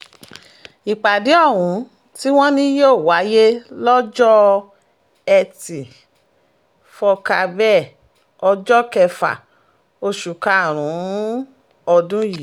ìpàdé ohun tí wọ́n ní yóò wáyé lọ́jọ́ etí furcabee ọjọ́ kẹfà oṣù karùn-ún ọdún yìí